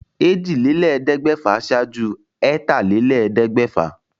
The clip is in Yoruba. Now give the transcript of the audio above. Èjìlélẹ́ẹ̀ẹ́dẹ́gbẹ́fà ṣáájú ẹ̀tàlélẹ́ẹ̀ẹ́dẹ́gbẹ́fà